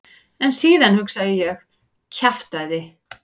En síðan hugsaði ég: kjaftæði.